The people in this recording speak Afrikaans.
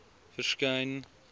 verskyn